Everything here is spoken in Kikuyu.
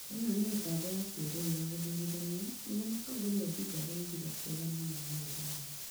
Ĩno nĩ mĩtambo ya kĩrĩu ya gũthũrĩthanĩa," nĩguo mũtongorĩa Odinga araugĩre akĩregana na maumĩrĩra maũ